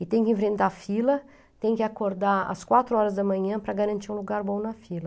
E tem que enfrentar fila, tem que acordar às quatro horas da manhã para garantir um lugar bom na fila.